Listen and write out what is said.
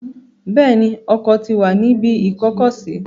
Bẹ́ẹ̀ ni, Ọkọ̀ ti wà ní ibi ìkó-ọkọ̀-sí.